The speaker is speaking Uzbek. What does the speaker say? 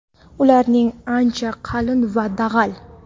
ularning ancha qalin va dag‘al.